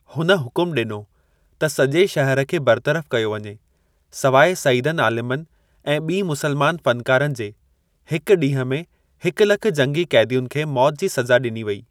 हुन हुकुम ॾिनो त सॼे शहर खे बरतरफ़ कयो वञे सवाइ सइदनि आलिमनि ऐं ॿीं मुसलमान फ़नकारनि जे हिक ॾींहुं में हिक लख जंगी क़ैदियुनि खे मौत जी सज़ा ॾिनी वेई।